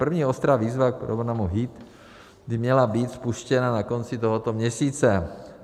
První ostrá výzva v programu HEAT by měla být spuštěna na konci tohoto měsíce.